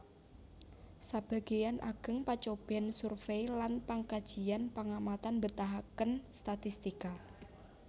Sebagéyan ageng pacobèn survey lan pangkajian pangamatan mbetahaken statistika